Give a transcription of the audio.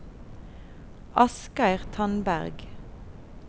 Asgeir Tandberg